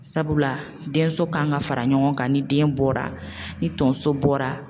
Sabula denso kan ka fara ɲɔgɔn kan ni den bɔra ni tonso bɔra.